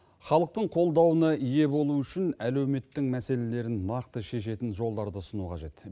халықтың қолдауына ие болу үшін әлеуметтің мәселелерін нақты шешетін жолдарды ұсыну қажет